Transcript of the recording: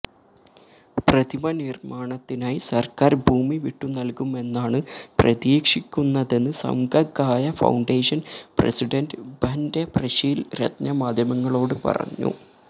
പ്രതിമ നിര്മാണത്തിനായി സര്ക്കാര് ഭൂമി വിട്ടുനല്കുമെന്നാണ് പ്രതീക്ഷിക്കുന്നതെന്ന് സംഘകായ ഫൌണ്ടേഷന് പ്രസിഡന്റ് ഭന്റെ പ്രശീല് രത്ന മാധ്യമങ്ങളോട് പറഞ്ഞു